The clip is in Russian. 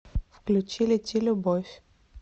включи лети любовь